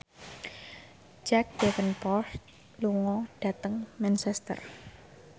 Jack Davenport lunga dhateng Manchester